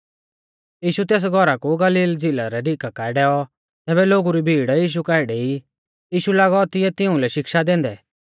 यीशु तेस घौरा कु गलील झ़िला रै डीका काऐ डैऔ तैबै लोगु री भीड़ यीशु काऐ डेई यीशु लागौ तिऐ तिउंलै शिक्षा दैंदै